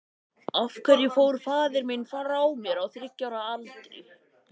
Af hverju hafði mamma verið að gráta?